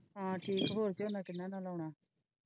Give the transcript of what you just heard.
ਹੈ ਠੀਕ ਹੋਰ ਕਿੰਨਾ ਨਾਲ ਆਉਣਾ।